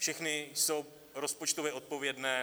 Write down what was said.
Všechny jsou rozpočtově odpovědné.